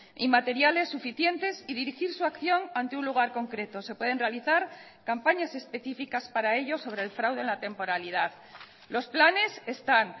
y materiales suficientes y dirigir su acción ante un lugar concreto se pueden realizar campañas específicas para ello sobre el fraude en la temporalidad los planes están